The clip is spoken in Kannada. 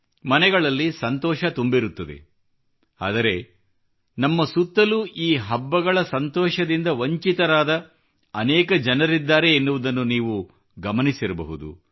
ಮನೆಗಳಲ್ಲಿ ಸಂತೋಷ ತುಂಬಿರುತ್ತದೆ ಆದರೆ ನಮ್ಮ ಸುತ್ತಲೂ ಈ ಹಬ್ಬಗಳ ಸಂತೋಷದಿಂದ ವಂಚಿತರಾದ ಅನೇಕ ಜನರಿದ್ದಾರೆ ಎನ್ನುವುದನ್ನು ನೀವು ಗಮನಿಸಿರಬಹುದು